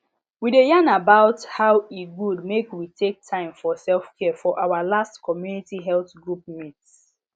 we dey yarn about how e good make we take time for selfcare for our last community health group meet